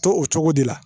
To o cogo de la